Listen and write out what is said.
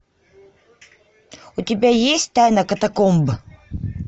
у тебя есть тайна катакомб